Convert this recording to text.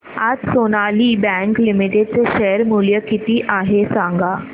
आज Sonali bank limited चे share मूल्य किती आहे सांगा